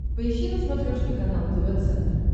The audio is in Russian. поищи на смотрешке канал тв центр